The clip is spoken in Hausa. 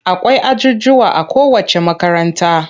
Akwai ajujjuwa a kowacce makaranta.